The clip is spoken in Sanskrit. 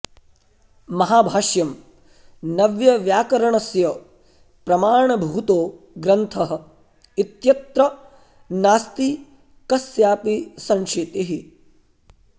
महाभाष्यं नव्यव्याकरणस्य प्रमाणभूतो ग्रन्थः इत्यत्र नास्ति कस्यापि संशीतिः